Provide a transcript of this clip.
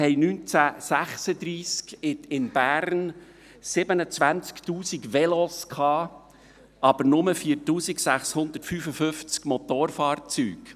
Wir hatten 1936 in Bern 27 000 Velos, aber nur 4655 Motorfahrzeuge.